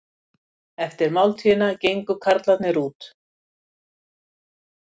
Eftir máltíðina gengu karlarnir út.